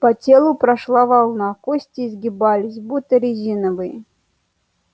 по телу прошла волна кости изгибались будто резиновые